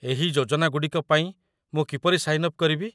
ଏହି ଯୋଜନାଗୁଡ଼ିକ ପାଇଁ ମୁଁ କିପରି ସାଇନ୍ ଅପ୍ କରିବି?